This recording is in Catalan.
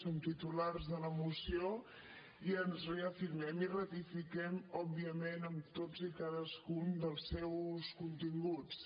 som titulars de la moció i ens reafirmem i ratifiquem òbviament en tots i cadascun dels seus continguts